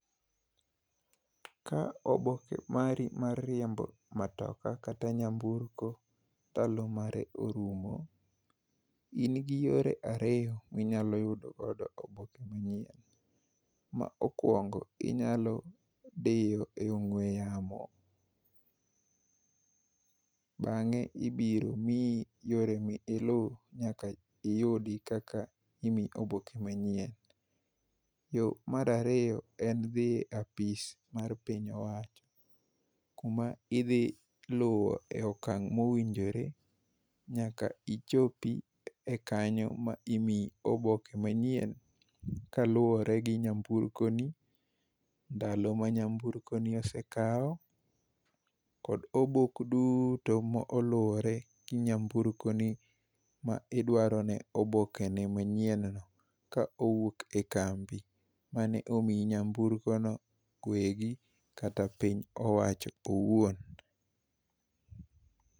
Ka oboke mari mar riembo matoka kata nyamburko ndalo mare orumo, ji nigi yore ariyo minyalo yudogodo oboke manyien. Ma okuongo inyalo dhi e ong'ue yamo, bang'e ibiro miyi yore ma ilu nyaka iyudi kaka imiyi oboke manyien. Yo mar ariyo, en dhi e apiso mar piny owacho kuma idhi luwo okang' ma owinjore nyaka ichopi e kanyo ma imiyi oboke manyien kaluwore gi nyamburko ni, ndalo ma nyamburko ni osekawo kod obok duto ma oluwre gi nyamburko ni ma idwarone obokene manyien no ka owuok e ka mbi mane omiyi nyamburkono, wegi kata piny owacho owuon.